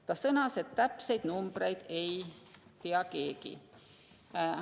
Ta sõnas, et täpseid numbreid ei tea keegi.